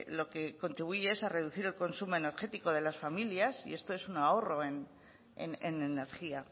lo que contribuye es a reducir el consumo energético de las familias y esto es un ahorro en energía